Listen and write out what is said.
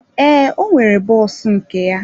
Ee, ọ nwere bọs nke ya.